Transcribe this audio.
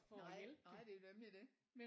Nej nej det er jo nemlig det